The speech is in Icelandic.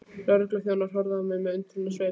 Lögregluþjónarnir horfðu á mig með undrunarsvip.